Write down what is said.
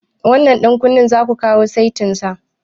Wannan ɗan kunnen zaku kawo setin sa?